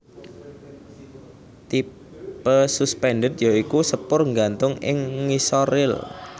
Tipe suspended ya iku sepur nggantung ing ngisor ril